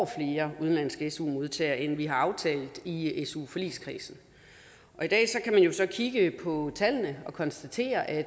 flere udenlandske su modtagere end vi har aftalt i i su forligskredsen i dag kan man jo så kigge på tallene og konstatere at